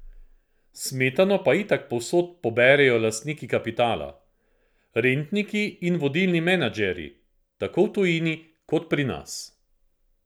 Smetano pa itak povsod poberejo lastniki kapitala, rentniki in vodilni menedžerji, tako v tujini kot pri nas.